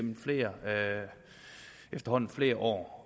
efterhånden flere år